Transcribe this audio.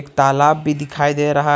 तालाब भी दिखाई दे रहा--